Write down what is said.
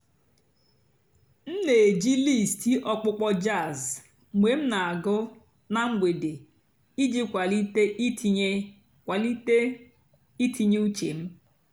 m nà-èjí lístì ọ̀kpụ́kpọ́ jàzz mg̀bé m nà-àgụ́ nà m̀gbèdé ìjì kwálìté ìtìnyé kwálìté ìtìnyé ùchè m.